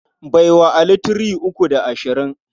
Bai wa Ali three uku da ashirin.